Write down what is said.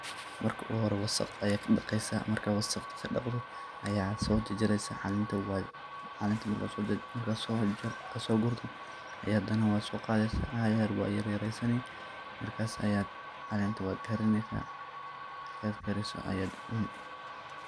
Marki ogu hore wasaqa ayad kadaqeysa, marka wasaqa kadaqdo ayad sojarjersa calenta marka ad sogurto ayad hada nah soqadeysa waa yar yaresani, markas calenta wad karineysa markad kariso ayad cuni .